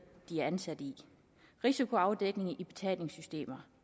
de er ansat i risikoafdækning i betalingssystemer